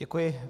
Děkuji.